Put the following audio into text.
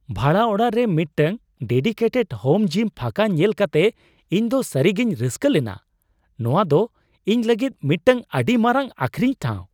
ᱵᱷᱟᱲᱟ ᱚᱲᱟᱜ ᱨᱮ ᱢᱤᱫᱴᱟᱝ ᱰᱮᱰᱤᱠᱮᱴᱮᱰ ᱦᱳᱢ ᱡᱤᱢ ᱯᱷᱟᱸᱠᱟ ᱧᱮᱞ ᱠᱟᱛᱮ ᱤᱧᱫᱚ ᱥᱟᱹᱨᱤᱜᱤᱧ ᱨᱟᱹᱥᱠᱟᱹ ᱞᱮᱱᱟ ᱼ ᱱᱚᱶᱟ ᱫᱚ ᱤᱧ ᱞᱟᱹᱜᱤᱫ ᱢᱤᱫᱴᱟᱝ ᱟᱹᱰᱤ ᱢᱟᱨᱟᱝ ᱟᱹᱠᱷᱨᱤᱧ ᱴᱷᱟᱣ ᱾